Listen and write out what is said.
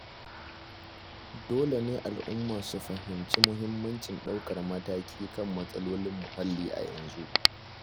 Dole ne al'umma su fahimci muhimmancin ɗaukar mataki kan matsalolin muhalli a yanzu.